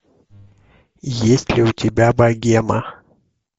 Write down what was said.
есть ли у тебя богема